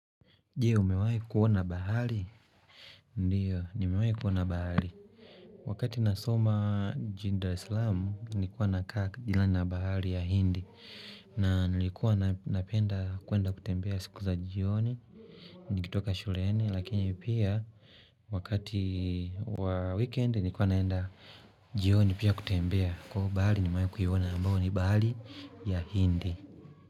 Je, umewaiku kuona bahari? Ndiyo, nimewaikuona bahari. Wakati nasoma mji wa Dar Salaam, nilikuwa nakaa jirani na bahari ya hindi. Na nilikuwa napenda kwenda kutembea siku za jioni, nikitoka shuleni. Lakini pia, wakati wa weekend, nilikuwa naenda jioni pia kutembea. Kwa hivo bahari nimewaikuiona ambayo ni bahari ya hindi.